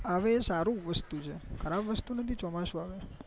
આવે એ સારું છે ખરાબ વસ્તુ નથી એ ચોમાસું આવે એં